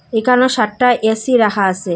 এখানেও সাটটা এ_সি রাখা আছে।